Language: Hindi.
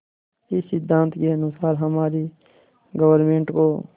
इस सिद्धांत के अनुसार हमारी गवर्नमेंट को